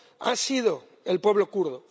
ha sido el pueblo kurdo.